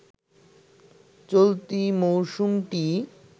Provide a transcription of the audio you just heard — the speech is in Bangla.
চলতি মৌসুমটি